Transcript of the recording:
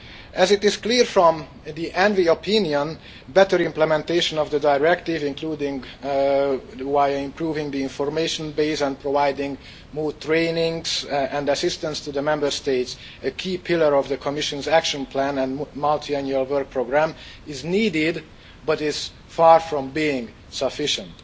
As is clear from the ENVI opinion, better implementation of the directive, including improving the information base and providing more training and assistance to the Member States a key pillar of the Commission's action plan and multiannual work programme is needed, but is far from being sufficient.